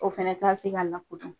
O fana ka tɛ se k'a